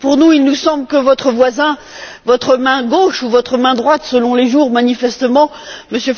Il nous semble que votre voisin, votre main gauche ou votre main droite selon les jours manifestement, M.